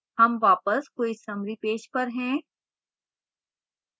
हम वापस quiz summary page पर हैं